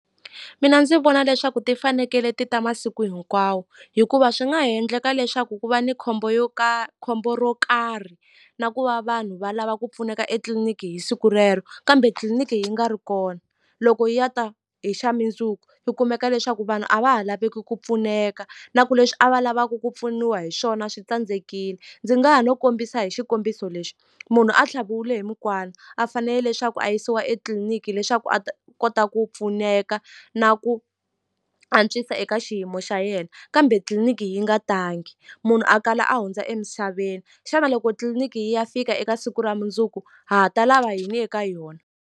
Mina ndzi vona leswaku ti fanekele ti ta masiku hinkwawo hikuva swi nga ha endleka leswaku ku va ni khombo yo khombo ro karhi na ku va vanhu va lava ku pfuneka etliliniki hi siku rero kambe tliliniki yi nga ri kona loko yi ya ta hi xa mindzuku u kumeka leswaku vanhu a va ha laveki ku pfuneka na ku leswi a va lavaku ku pfuniwa hi swona swi tsandzekile ndzi nga ha no kombisa hi xikombiso lexi munhu a tlhaviwile hi mukwana a fanele leswaku a yisiwa etitliliniki hileswaku a ta kota ku pfuneka na ku antswisa eka xiyimo xa yena kambe tliliniki yi nga tangi munhu a kala a hundza emisaveni xana loko tliliniki yi ya fika eka siku ra mundzuku ha ha ta lava yini eka yona.